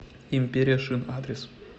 империя шин адрес